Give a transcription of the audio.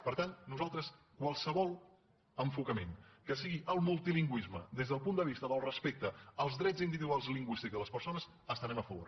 per tant nosaltres de qualsevol enfocament que sigui el multilingüisme des del punt del vista del respecte als drets individuals lingüístics de les persones hi estarem a favor